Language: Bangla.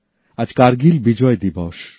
আজ কার্গিল বিজয় দিবস